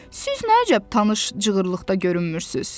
Siz nə əcəb tanış cığırlıqda görünmürsünüz?